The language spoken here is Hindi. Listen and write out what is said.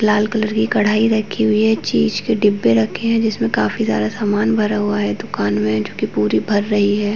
लाल कलर की कड़ाई रखी हुई है चीज़ के डिब्बे रखे हैं जिसमें काफी सारा सामान भरा हुआ है दूकान में जो कि पूरी भर रही है।